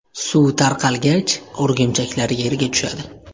Suv tarqalgach, o‘rgimchaklar yerga tushadi.